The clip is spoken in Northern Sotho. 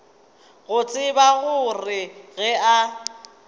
go tseba gore ge a